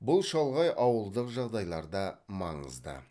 бұл шалғай ауылдық жағдайларда маңызды